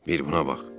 Bir buna bax.